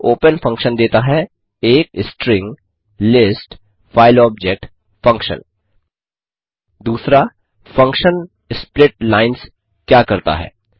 1ओपन function देता है एक string list file object function function splitlines क्या करता है